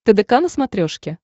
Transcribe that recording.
тдк на смотрешке